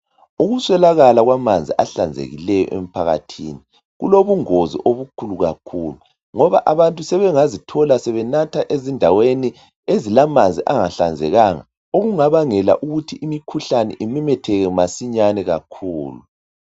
Ukuswelakala kwamanzi ahlanzekileyo emphakathini, kulobungozi obukhulu kakhulu, ngoba abantu sebengazithola sebenatha ezindaweni ezilamanzi angahlanzekanga okungabangela ukuthi imikhuhlane imemetheke masinyane kakhulu.